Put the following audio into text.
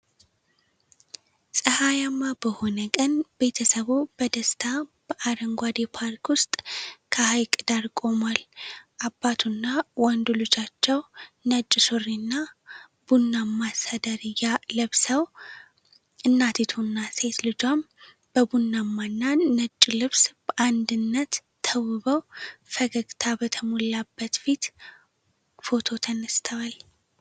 ፀሐያማ በሆነ ቀን፣ ቤተሰቡ በደስታ በአረንጓዴ ፓርክ ውስጥ ከሐይቅ ዳር ቆሟል። አባቱና ወንዱ ልጃቸው ነጭ ሱሪና ቡናማ ሰደርያ ለብሰው፣ እናቲቱና ሴት ልጇም በቡናማና ነጭ ልብስ በአንዲነት ተውበው ፈገግታ በተሞላበት ፊት ፎቶ ተነስተዋል።